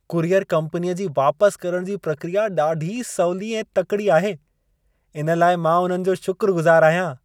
Courier कम्पनीअ जी वापसि करणु जी प्रक्रिया ॾाढी सवली ऐं तकिड़ी आहे। इन लाइ मां उन्हनि जो शुक्रगुज़ार आहियां।